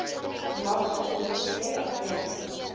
magte dws adjunk